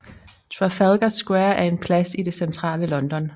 Trafalgar Square er en plads i det centrale London